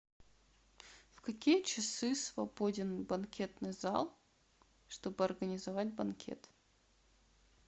в какие часы свободен банкетный зал чтобы организовать банкет